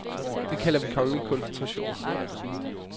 Det kalder vi kongelig koncentration.